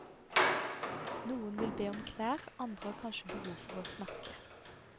Noen vil be om klær, andre har kanskje behov for å snakke.